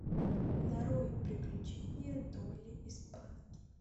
нарой приключения долли и спанки